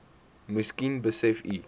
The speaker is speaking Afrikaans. miskien besef u